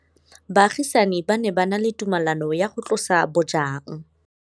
Baagisani ba ne ba na le tumalanô ya go tlosa bojang.